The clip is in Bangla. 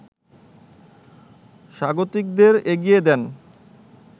স্বাগতিকদের এগিয়ে দেন